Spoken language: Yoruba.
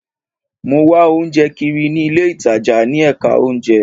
Mo wá oúnjẹ kiri ní ilé ìtajà ní ẹ̀ka oúnjẹ